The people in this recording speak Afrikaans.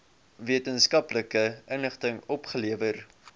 wetenskaplike inligting opgelewer